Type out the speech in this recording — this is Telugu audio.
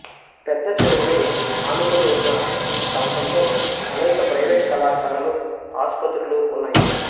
పెద్దచెరువుని ఆనుకొని ఉన్న ఈ ప్రాంతంలో అనేక ప్రైవేటు కళాశాలలు ఆసుపత్రులు ఉన్నాయి